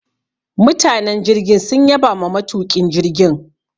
Mutanen jirgin sun yabama matuƙin jirgin.